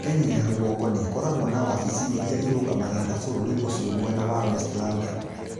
Kenya ya rũgongo nĩkoragwo na wavici iria irũgamagĩrĩra vũrũri ũcio mwena wa West London